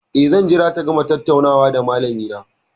Eh, zan jira ta gama tattaunawa da malamina.